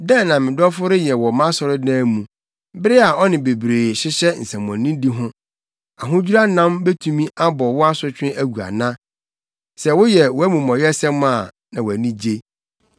“Dɛn na me dɔfo reyɛ wɔ mʼasɔredan mu bere a ɔne bebree hyehyɛ nsɛmmɔnedi ho? Ahodwira nam betumi abɔ wo asotwe agu ana? Sɛ woyɛ wʼamumɔyɛsɛm a na wʼani agye.”